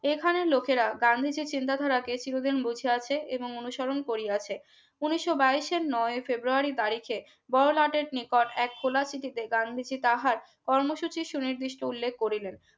এখানে লোকেরা গান্ধীজীর চিন্তা ধারাতে চিরদিন বুঝিয়াছে এবং অনুসরণ করিয়াছে উনিশো বাইশ এর নয়ও february তারিখে বড়লাটের নিকট এক খোলা চিঠিতে গান্ধীজী তাহার কর্মসূচি নির্দিষ্ট উল্লেখ করিলেন